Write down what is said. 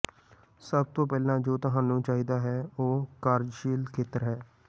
ਸਭ ਤੋਂ ਪਹਿਲਾਂ ਜੋ ਤੁਹਾਨੂੰ ਚਾਹੀਦਾ ਹੈ ਉਹ ਕਾਰਜਸ਼ੀਲ ਖੇਤਰ ਹੈ